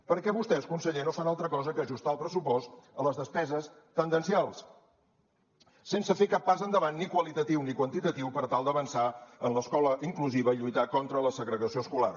perquè vostès conseller no fan altra cosa que ajustar el pressupost a les despeses tendencials sense fer cap pas endavant ni qualitatiu ni quantitatiu per tal d’avançar en l’escola inclusiva i lluitar contra la segregació escolar